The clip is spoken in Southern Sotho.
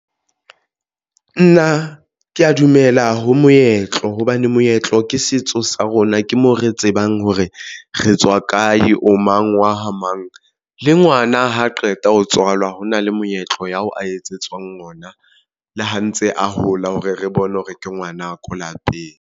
Nna ke ya dumela ho moetlo hobane moetlo ke setso sa rona ke mo re tsebang hore re tswa kae, o mang wa ha mang le ngwana ha qeta ho tswalwa ho na le moetlo ya ho a etsetswang yona le ha ntse a hola hore re bone hore ke ngwanaka lapeng.